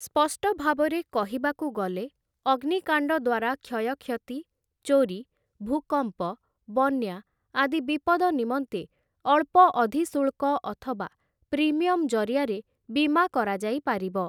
ସ୍ପଷ୍ଟ ଭାବରେ କହିବାକୁ ଗଲେ ଅଗ୍ନିକାଣ୍ଡ ଦ୍ୱାରା କ୍ଷୟକ୍ଷତି ଚୋରି ଭୂକମ୍ପ ବନ୍ୟା ଆଦି ବିପଦ ନିମନ୍ତେ ଅଳ୍ପ ଅଧିଶୁଳ୍କ ଅଥବା ପ୍ରିମିୟମ୍‌ ଜରିଆରେ ବୀମା କରାଯାଇପାରିବ ।